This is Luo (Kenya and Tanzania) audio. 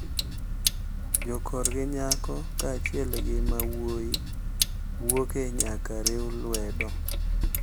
Jokorgi nyako kaachiel gi ma wuoyi wuoke nyaka riw lwedo.